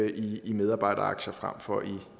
i medarbejderaktier frem for